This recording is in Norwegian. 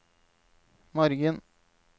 morgen